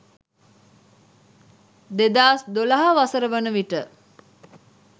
2012 වසර වන විට